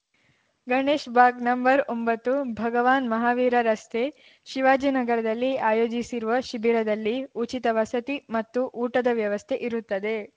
ಗಣೇಶ್‌ ಬಾಗ್‌ನಂಬರ್ಒಂಬತ್ತು ಭಗವಾನ್‌ ಮಹಾವೀರ ರಸ್ತೆ ಶಿವಾಜಿನಗರದಲ್ಲಿ ಆಯೋಜಿಸಿರುವ ಶಿಬಿರದಲ್ಲಿ ಉಚಿತ ವಸತಿ ಮತ್ತು ಊಟದ ವ್ಯವಸ್ಥೆ ಇರುತ್ತದೆ